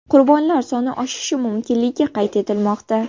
Qurbonlar soni oshishi mumkinligi qayd etilmoqda.